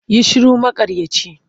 Yi shiru maƙaryaci!